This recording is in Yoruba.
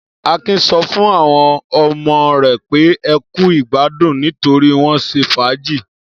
Akin sọ fún àwọn ọmọ rẹ̀ pé ẹ kú ìgbádùn nítorí wọ́n ṣe fàájì.